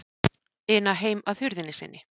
ina heim að hurðinni sinni.